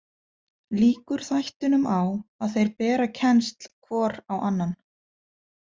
Lýkur þættinum á að þeir bera kennsl hvor á annan.